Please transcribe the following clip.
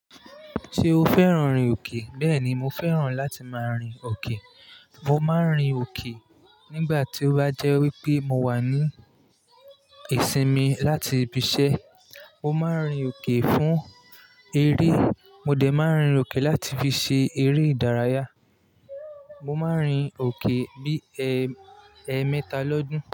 Ṣé o fẹ́ràn rin òkè? Bẹ́ẹ̀ni, mo fẹ́ràn láti máa rin òkè. Mo máa ń rin òkè nígbà tí ó bá jẹ́ wípé mo wà ní ìsinmi láti ibi iṣẹ́. Mo máa ń rin òkè fún eré. Mo dẹ̀ máa ń rin òkè láti fi ṣe eré ìdárayá. Mo máa ń rin òkè bí ẹẹ́mẹta lọ́dún.